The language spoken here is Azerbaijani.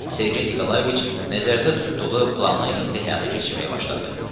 Sergey Nikolayeviç nəzərdə tutduğu planı indi həyata keçirməyə başladı.